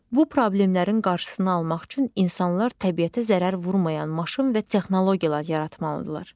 Bu problemlərin qarşısını almaq üçün insanlar təbiətə zərər vurmayan maşın və texnologiyalar yaratmalıdırlar.